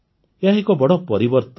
ଏହା ଏକ ବଡ଼ ପରିବର୍ତ୍ତନ